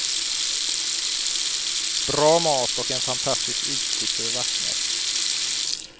Bra mat och en fantastisk utsikt över vattnet.